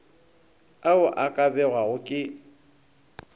ao a ka bewago ke